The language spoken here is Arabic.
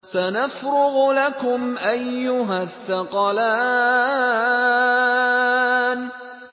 سَنَفْرُغُ لَكُمْ أَيُّهَ الثَّقَلَانِ